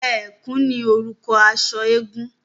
Ẹ̀kú ní orúkọ aṣọ eégún.